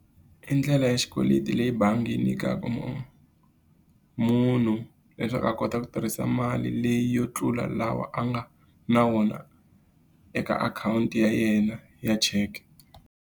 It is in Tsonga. I ndlela ya xikweleti leyi bangi yi nyikaka munhu. Munhu leswaku a kota ku tirhisa mali leyi yo tlula lawa a nga na wona eka akhawunti ya yena ya cheke.